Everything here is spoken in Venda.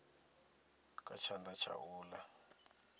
kha tshanḓa tsha u ḽa